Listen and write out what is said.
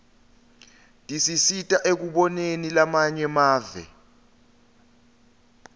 tisisita ekuboneni lamanye emave